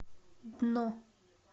дно